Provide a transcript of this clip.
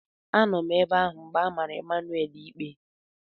Anọ m ebe ahụ mgbe a mara Emmanuel ikpe.